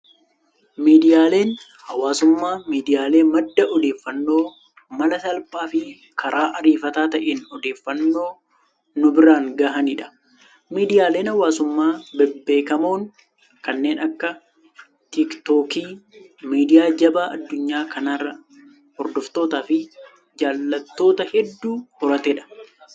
Miidiyaaleen hawaasummaa, miidiyaalee madda odeeffannoo mala salphaa fi karaa ariifataa ta'een odeeffannoo nu biraan gahanidha. Miidiyaaleen hawaasummaa bebbeekamoon kanneen akka tiktookii, midiyaa jabaa adunyaa kanaa hordoftoota fi jaalattoota hedduu horatedha.